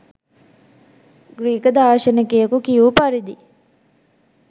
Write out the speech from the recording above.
Greek දාර්ශනිකයෙකු කියූ පරිදි